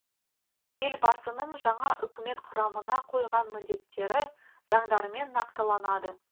елбасының жаңа үкімет құрамына қойған міндеттері заңдармен нақтыланады